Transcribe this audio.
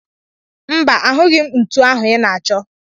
Mba, ahụghị m ntu ahụ ị na-achọ.